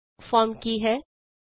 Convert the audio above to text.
form ਕੀ ਹੈ 2